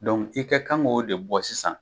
i ka kan k'o de bɔ sisan.